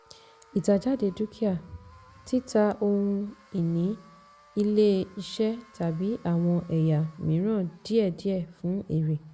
ìtàjáde dúkìá - títa ohun-ìní ilé-iṣẹ́ tàbí àwọn ẹ̀yà mìíràn díẹ̀díẹ̀ fún èrè.